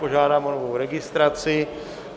Požádám o novou registraci.